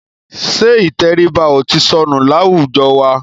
Ṣẹ́ ìtẹríba ò ti sọnù láwùjọ wa?